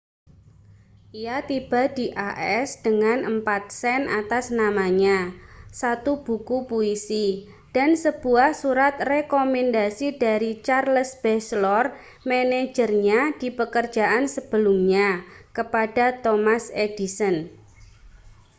ia tiba di as dengan 4 sen atas namanya satu buku puisi dan sebuah surat rekomendasi dari charles batchelor manajernya di pekerjaan sebelumnya kepada thomas edison